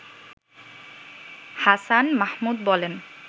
হাছান মাহমুদ বলেন